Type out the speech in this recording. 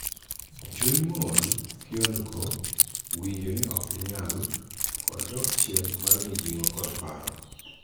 Chuny mool, kiondko, winjo ni ok inyal, kod dok chien mar mijing'o kod paro.